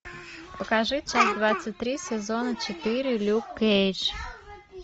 покажи часть двадцать три сезона четыре люк кейдж